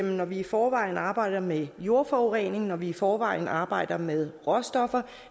når vi i forvejen arbejder med jordforurening når vi i forvejen arbejder med råstoffer